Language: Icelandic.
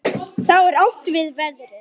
Þá er átt við veðrið.